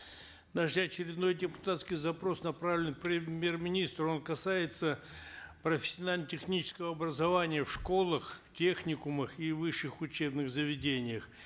наш очередной депутатский запрос направлен премьер министру он касается профессионально технического образования в школах техникумах и высших учебных заведениях